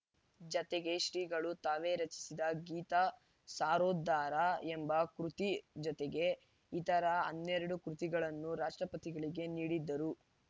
ಜತೆಗೆ ಶ್ರೀಗಳು ತಾವೇ ರಚಿಸಿದ ಗೀತ ಸಾರೋದ್ಧಾರ ಎಂಬ ಕೃತಿ ಜೊತೆಗೆ ಇತರ ಹನ್ನೆರಡು ಕೃತಿಗಳನ್ನೂ ರಾಷ್ಟ್ರಪತಿಗಳಿಗೆ ನೀಡಿದರು